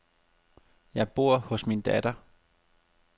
Jeg bor hos min datter.